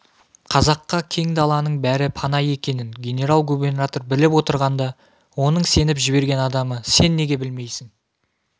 қазаққа кең даланың бәрі пана екенін генерал-губернатор біліп отырғанда оның сеніп жіберген адамы сен неге білмейсің